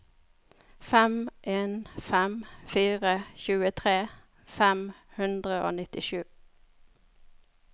fem en fem fire tjuetre fem hundre og nittisju